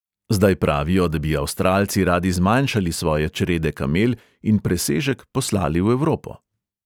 Zdaj pravijo, da bi avstralci radi zmanjšali svoje črede kamel in presežek poslali v evropo.